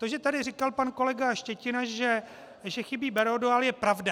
To, že tady říkal pan kolega Štětina, že chybí Berodual, je pravda.